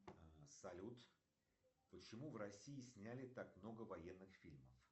салют почему в россии сняли так много военных фильмов